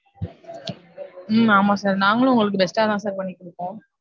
ஹம் ஹம் ஆமா sir. நாங்களும் உங்களுக்கு best டாதா sir பண்ணி கொடுப்போம்.